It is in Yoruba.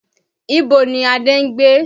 Ibo ni Adé ń gbé?